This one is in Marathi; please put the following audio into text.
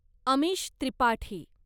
अमिश त्रिपाठी